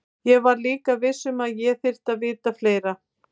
Ég var líka viss um að ég þyrfti að vita fleira.